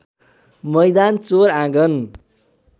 मैदान चौर आँगन